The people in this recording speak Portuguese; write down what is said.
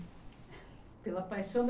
Pela paixão da